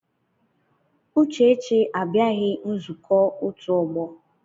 Uchechi abịaghị nzukọ otu ọgbọ.